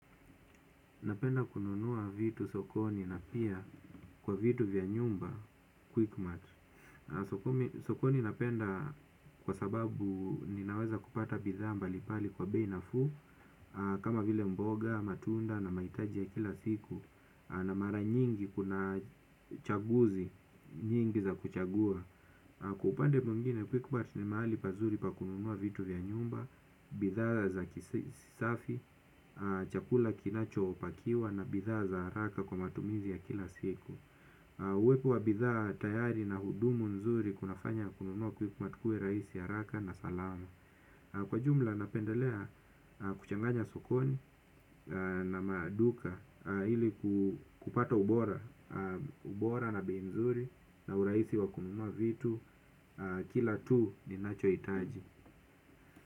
Napenda kununua vitu sokoni na pia kwa vitu vya nyumba, Quickmatt. Sokoni napenda kwa sababu ninaweza kupata bidhaa mbalimbali kwa bei nafuu, kama vile mboga, matunda na mahitaji ya kila siku, na mara nyingi kuna chaguzi, nyingi za kuchagua. Kwa upande mwngine, Quickmat ni mahali pazuri pa kununua vitu vya nyumba, bidhaa za kisafi. Chakula kinacho pakiwa. Na bidhaa za haraka kwa matumizi ya kila siku. Uwepo wa bidhaa tayari na hudumu nzuri. Kunafanya kununua Quickmat kuwe raisi haraka na salama. Kwa jumla napendelea kuchanganya sokoni. Na maduka ili kupata ubora. Ubora na bei nzuri. Na urahisi wa kununua vitu. Kila tu ni nacho hitaji.